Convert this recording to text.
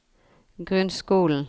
grunnskolen